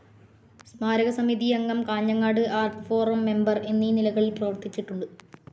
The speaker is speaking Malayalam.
സ്മാരകസമിതി അംഗം, കാഞ്ഞങ്ങാട് ആർട്ട്‌ ഫോറം മെമ്പർ എന്നീ നിലകളിൽ പ്രവർത്തിച്ചിട്ടുണ്ട്.